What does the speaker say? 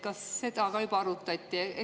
Kas seda ka juba arutati?